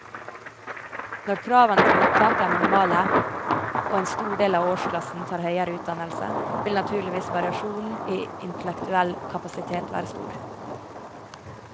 Når kravene til opptak er minimale og en stor del av årsklassen tar høyere utdannelse, vil naturligvis variasjonen i intellektuell kapasitet være stor.